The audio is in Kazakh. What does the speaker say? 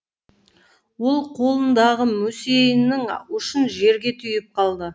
ол қолындағы мүсейінің ұшын жерге түйіп қалды